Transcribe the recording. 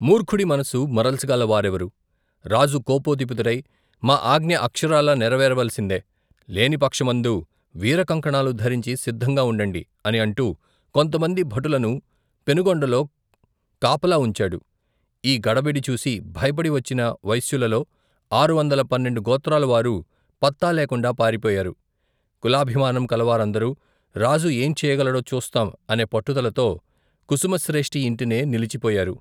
మూర్ఖుడి మనసు, మరల్చగలవారెవరు రాజు కోపోద్దిపితుడై మా అఙ్ఞ అక్షరాలా నెరవేరవలసిందే లేనిపక్ష మందు వీరకంకణాలు ధరించి సిద్దంగా వుండండి అని అంటు కొంత మంది భటులను పెనుగొండలో కాపలా వుంచాడు ఈ గడబడి చూసి, భయపడి వచ్చిన వైశ్యులలో ఆరువందల పన్నెండు గోత్రాలవారు పత్తాలేకుండా పారిపోయారు కులాభిమానం కలవారందరు రాజు ఏంచేయగలడో చూస్తాం అనే పట్టుదలతో కుసుమశ్రేష్ఠి యింటనే నిలిచిపోయారు.